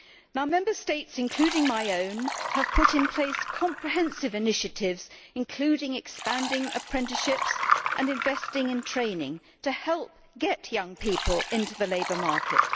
Now, Member States, including my own, have put in place comprehensive initiatives, including expanding apprenticeships and investing in training, to help get young people into the labour market.